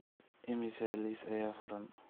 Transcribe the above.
imisa liis ayaa furan